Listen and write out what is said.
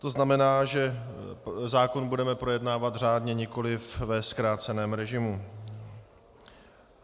To znamená, že zákon budeme projednávat řádně, nikoli ve zkráceném režimu.